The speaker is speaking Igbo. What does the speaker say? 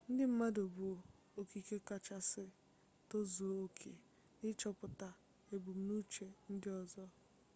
ndị mmadụ bụ okike kachasị tozuo oke n'ịchọpụta ebumnuche ndị ọzọ